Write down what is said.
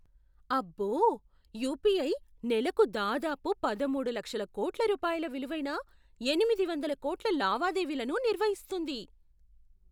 అబ్బో! యుపిఐ నెలకు దాదాపు పదమూడు లక్షల కోట్ల రూపాయల విలువైన ఎనిమిది వందల కోట్ల లావాదేవీలను నిర్వహిస్తుంది.